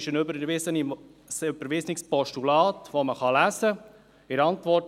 Es handelt sich um ein überwiesenes Postulat, das nachgelesen werden kann.